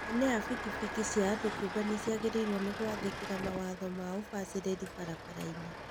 Ene a bikibiki cia andũ kĩumbe nĩmagĩrĩirwo nĩ gwathĩkĩra mawatho ma ũbacĩrĩri barabara-inĩ